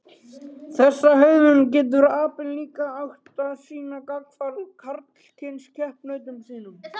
Þessa hegðun getur apinn líka átt til að sýna gagnvart karlkyns keppinautum sínum.